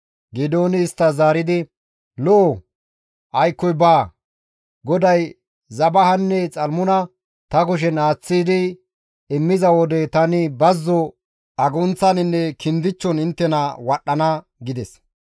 Geedooni isttas zaaridi, «Lo7o, aykkoy baawa! GODAY Zebahanne Xalmuna ta kushen aaththi immiza wode tani bazzo agunththaninne gaammon inttena wadhdhana» gides.